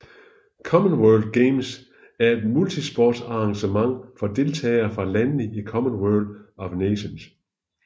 Commonwealth Games er et multisportsarrangement for deltagere fra landene i Commonwealth of Nations